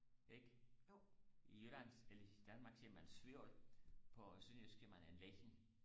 ikke i jylland eller i Danmark siger man svovl på sønderjysk siger man en leche